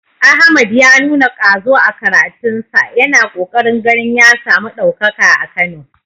Ahmad ya nuna ƙwazo a karatunsa, yana ƙoƙarin ganin ya samu ɗaukaka a Kano.